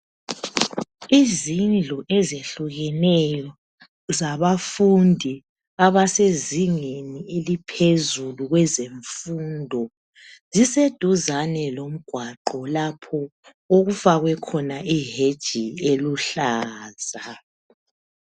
Izindlu ezehlukeneyo zabafundi abasezingeni eliphezulu kwezemfundo ziseduzane lomgwaqo lapho okufakwe khona iheji eluhlaza.